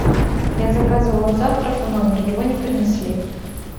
я заказывала завтрак в номер его не принесли